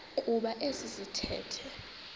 kuba esi sithethe